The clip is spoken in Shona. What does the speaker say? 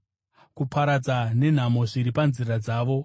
kuparadza nenhamo zviri panzira dzavo,